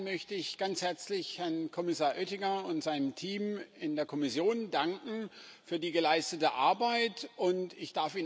Zunächst einmal möchte ich ganz herzlich Herrn Kommissar Oettinger und seinem Team in der Kommission für die geleistete Arbeit danken.